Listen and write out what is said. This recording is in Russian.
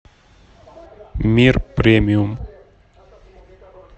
мир премиум